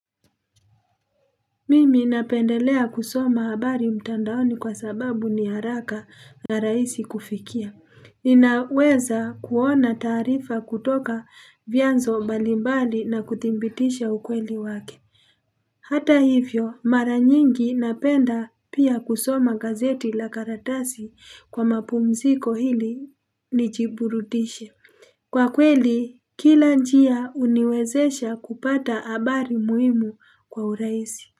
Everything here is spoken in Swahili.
Mimi napendelea kusoma habari mtandaoni kwa sababu ni haraka na rahisi kufikia. Ninaweza kuona taarifa kutoka vyanzo mbalimbali na kuthibitisha ukweli wake. Hata hivyo mara nyingi napenda pia kusoma gazeti la karatasi kwa mapumziko ili nijiburudishe. Kwa kweli kila njia huniwezesha kupata habari muhimu kwa urahisi.